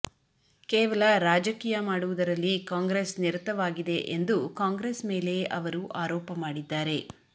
ಕೇವಲ ರಾಜಕೀಯ ಮಾಡುವುದರಲ್ಲಿ ಕಾಂಗ್ರೆಸ್ ನಿರತವಾಗಿದೆ ಎಂದು ಕಾಂಗ್ರೆಸ್ ಮೇಲೆ ಅವರು ಆರೋಪ ಮಾಡಿದ್ದಾರೆ